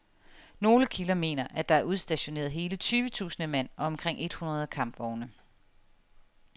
Nogle kilder mener, at der er udstationeret hele tyve tusind mand og omkring et hundrede kampvogne.